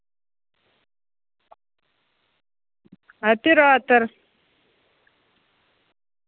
оператор